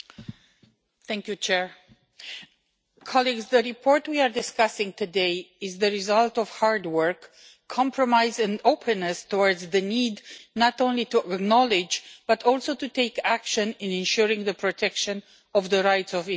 Mr President, the report we are discussing today is the result of hard work, compromise and openness towards the need not only to acknowledge, but also to take action in ensuring the protection of the rights of indigenous people.